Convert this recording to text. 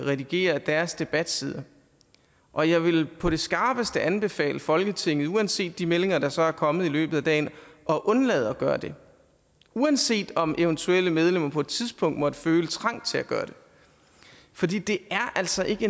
redigerer deres debatsider og jeg vil på det skarpeste anbefale folketinget uanset de meldinger der så er kommet i løbet af dagen at undlade at gøre det uanset om eventuelle medlemmer på et tidspunkt måtte føle trang til at gøre det fordi det altså ikke